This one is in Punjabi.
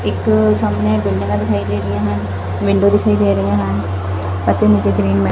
ਇੱਕ ਸਾਹਮਨੇ ਬਿਲਡਿੰਗਾਂ ਦਿਖਾਈ ਦੇ ਰਹੀਆਂ ਹਨ ਮਿੰਡੀ ਦਿਖਾਈ ਦੇ ਰਹੀਆ ਹਨ ਅਤੇ ਨੀਚੇ ਗ੍ਰੀਨ ਮੈ--